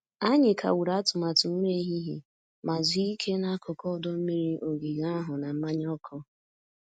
Anyị kagburu atụmatụ nri ehihie ma zuo ike n'akụkụ ọdọ mmiri ogige ahụ na mmanya ọkụ.